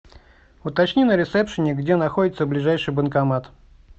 уточни на ресепшене где находится ближайший банкомат